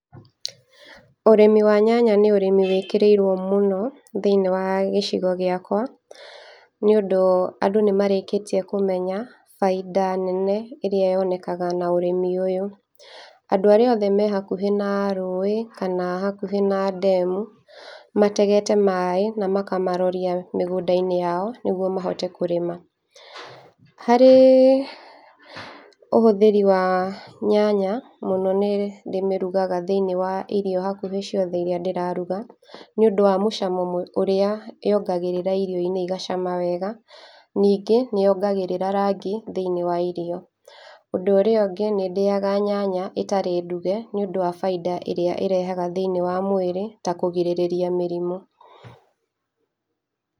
Ũrĩmi wa nyanya nĩ ũrĩmi wĩkĩrĩirwo mũno thĩinĩ wa gĩcigo gĩakwa, nĩũndũ andũ nĩ marĩkĩtie kũmenya bainda nene ĩrĩa yonekaga na ũrĩmi ũyũ, andũ arĩa othe mehakuhĩ na rũĩ, kana hakuhĩ na ndemu, mategete maĩ na makamarorĩa mĩgũnda-inĩ yao nĩguo mahote kũrĩma, harĩ ühũthĩri wa nyanya, mũno nĩ ndĩmĩrugaga thĩinĩ wa irio hakuhĩ ciothe iria ndĩraruga, nĩ ũndũ wa mũcamo mwe ũrĩa yongagĩrĩra irio-inĩ igacama wega, ningĩ nĩyongagĩrĩra rangi thĩinĩ wa irio, ũndũ ũrĩa ũngĩ nĩ ndĩyaga nyanya ĩtarĩ nduge, nĩũndũ wa bainda ĩrĩa ĩrehaga thĩinĩ wa mwĩrĩ, ta kũgirĩrĩria mĩrimũ,